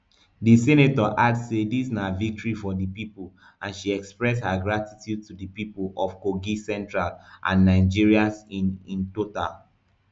di senator add say dis na victory for di pipo and she express her gratitude to di pipo of kogi central and nigerians in in total